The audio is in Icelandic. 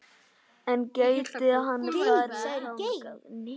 En gæti hann farið þangað?